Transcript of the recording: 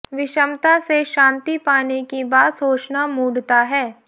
विषमता से शांति पाने की बात सोचना मूढ़ता है